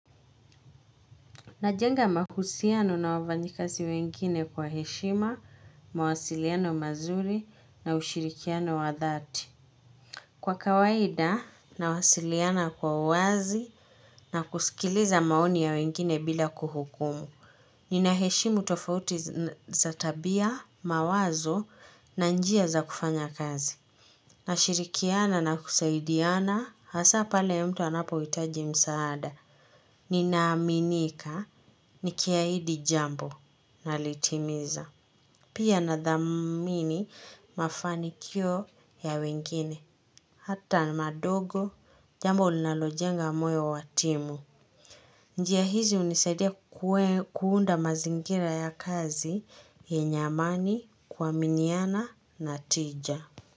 Najenga mahusiano na wafanyikazi wengine kwa heshima, mawasiliano mazuri na ushirikiano wa dhati. Kwa kawaida, nawasiliana kwa uwazi na kusikiliza maoni ya wengine bila kuhukumu. Ninaheshimu tofauti za tabia, mawazo na njia za kufanya kazi. Nashirikiana na kusaidiana, hasa pale ya mtu anapohitaji msaada. Ninaaminika nikiahidi jambo, nalitimiza. Pia nathamini mafanikio ya wengine. Hata madogo, jambo linalojenga moyo wa timu. Njia hizi hunisaidia kuunda mazingira ya kazi yenye amani, kuaminiana na tija.